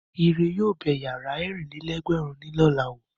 Ire yóò bẹ ìyàrá ẹ̀rìnlá-lé-ẹgbẹ̀rún ní lọ̀la wò.